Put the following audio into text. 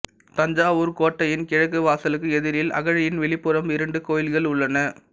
தஞ்சாவூர்க் கோட்டையின் கிழக்கு வாசலுக்கு எதிரில் அகழியின் வெளிப்புறம் இரண்டு கோயில்கள் உள்ளன